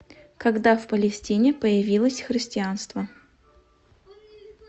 когда в палестине появилось христианство